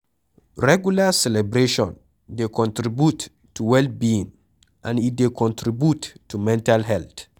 Regular celebration dey contribute to well being and e dey contribute to mental health